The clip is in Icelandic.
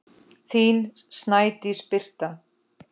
Þín Snædís Birta.